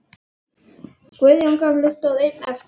Guðjón gamli stóð einn eftir.